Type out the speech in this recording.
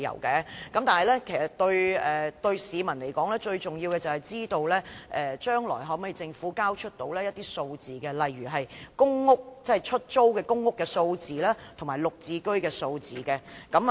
其實對市民來說，最重要的是政府將來能否提交一些數字，例如出租公屋和"綠置居"單位的數字。